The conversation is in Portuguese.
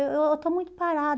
Eh eu eu estou muito parada.